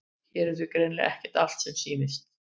Hér er því greinilega ekki allt sem sýnist.